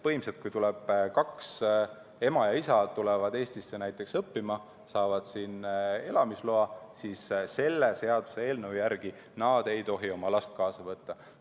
Põhimõtteliselt, kui ema ja isa tulevad Eestisse õppima ja saavad siin elamisloa, siis selle seaduseelnõu järgi ei tohi nad oma last kaasa võtta.